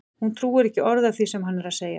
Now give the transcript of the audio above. Hún trúir ekki orði af því sem hann er að segja!